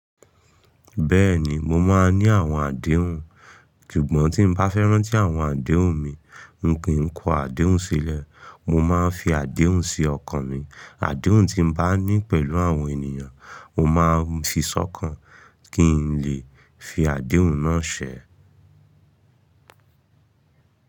Bẹ́ẹ̀ni, mo máa ń ní àwọn àdéhùn, súgbọ̀ tí n bá fẹ́ rán tí àwọn àdéhùn mi, n kì í kó àdéhùn sílẹ̀. Mo máa ń fi àdéhùn sí ọkàn mi. Àdéhùn tí n bá ní pẹ̀lú àwọn ènìyàn, mo máa ń fi sọ́kàn kí n lè fi àdéhùn náà ṣẹ.